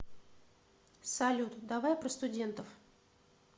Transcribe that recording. салют давай про студентов